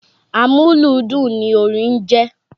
Amúlùúdùn ni orin jẹ́.